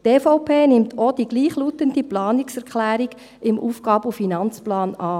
Die EVP nimmt auch die gleichlautende Planungserklärung im AFP an.